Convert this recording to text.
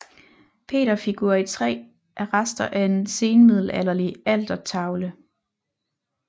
Peterfigur i træ er rester af en senmiddelalderlig altertavle